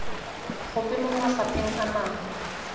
gope mo mafapheng a mangwe